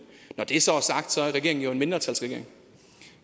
når det så er sagt er regeringen jo en mindretalsregering